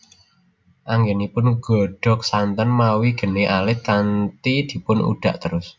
Anggenipun nggodhog santen mawi geni alit kanthi dipun udhak terus